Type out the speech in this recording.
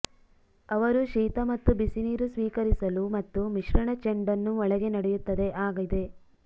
ಅವರು ಶೀತ ಮತ್ತು ಬಿಸಿನೀರು ಸ್ವೀಕರಿಸಲು ಮತ್ತು ಮಿಶ್ರಣ ಚೆಂಡನ್ನು ಒಳಗೆ ನಡೆಯುತ್ತದೆ ಆಗಿದೆ